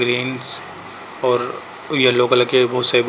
Green's और yellow colour के बोहोत सारे बु --